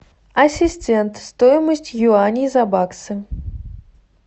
ассистент стоимость юаней за баксы